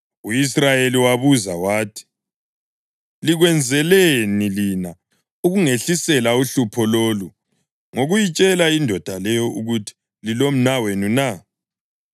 U-Israyeli wabuza wathi, “Likwenzeleni lina ukungehlisela uhlupho lolu ngokuyitshela indoda leyo ukuthi lilomnawenu na?”